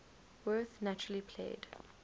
werth naturally played